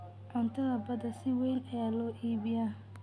Cuntada badda si weyn ayaa loo iibiyaa.